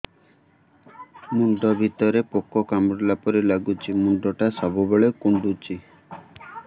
ମୁଣ୍ଡ ଭିତରେ ପୁକ କାମୁଡ଼ିଲା ପରି ଲାଗୁଛି ମୁଣ୍ଡ ଟା ସବୁବେଳେ କୁଣ୍ଡୁଚି